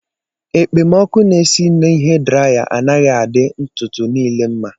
Ekpemọkụ na-esi na hee draya anaghị adị ntutu niile mma